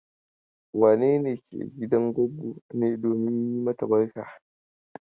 Wane ne ke gidan goggo ne domin yi mata barka?